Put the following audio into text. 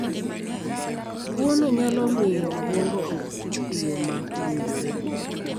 tuono nyalo miyo obwongo ok tii e yo ma owinjore